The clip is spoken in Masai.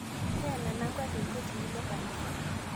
Teena nanka tekwee tinulo nkanisa